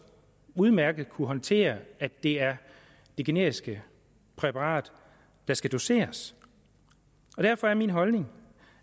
udmærket kunne håndtere at det er det generiske præparat der skal doseres derfor er min holdning